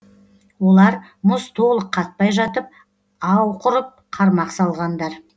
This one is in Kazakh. олар мұз толық қатпай жатып ау құрып қармақ салғандар